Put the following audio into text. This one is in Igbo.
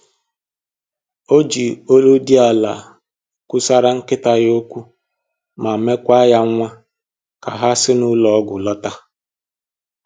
O ji olu dị ala kwusaraa nkịta ya okwu ma mekwa ya nwa ka ha si n'ụlọ ọgwụ lọta